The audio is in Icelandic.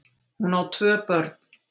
Hún á tvö börn